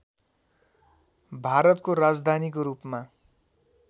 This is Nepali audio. भारतको राजधानीको रूपमा